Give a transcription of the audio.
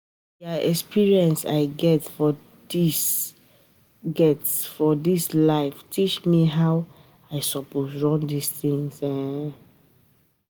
Na di um experience I get for dis get for dis life teach me how I um suppose run tins. um